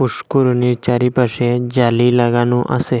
পুষ্করিনীর চারিপাশে জালি লাগানো আসে।